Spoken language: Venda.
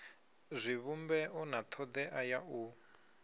zwivhumbeo na thodea ya u